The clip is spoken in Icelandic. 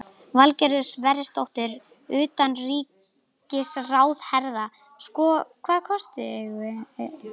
Valgerður Sverrisdóttir, utanríkisráðherra: Sko, hvaða kosti eigum við?